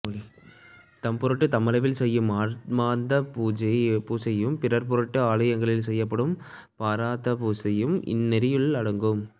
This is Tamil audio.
தம்பொருட்டு தம்மளவில் செய்யும் ஆன்மார்த்த பூசையும் பிறர் பொருட்டு ஆலயங்களில் செய்யப்படும் பரார்த்த பூசையும் இந்நெறியுள் அடங்கும்